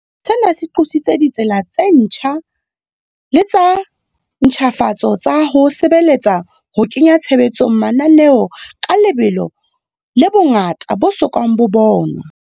Sena se qositse ditsela tse ntjha le tsa ntjhafatso tsa ho sebeletsa ho kenya tshebetsong mananeo ka lebelo le bongata bo so kang bo bonwa.